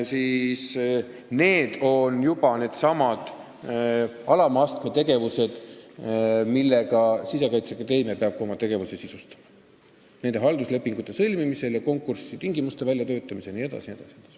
Ja need on juba alama astme tegevused, millega Sisekaitseakadeemia peab tegelema: halduslepingute sõlmimine, konkursitingimuste väljatöötamine jne.